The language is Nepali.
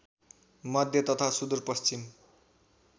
मध्य तथा सुदूरपश्चिम